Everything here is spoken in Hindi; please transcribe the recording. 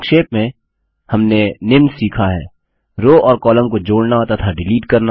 संक्षेप में हमने निम्न सीखा हैः रो और कॉलम को जोड़ना तथा डिलीट करना